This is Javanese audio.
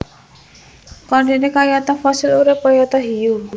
Chondrichthyes kayata Fossil urip kayata Hiu